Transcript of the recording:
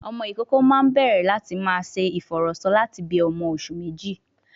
Ọmọ ìkókó máa ń bẹ̀rẹ̀ láti máa ṣe ìfọ̀rọ̀sọ lati bi ọmọ oṣù méjì